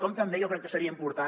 com també jo crec que seria important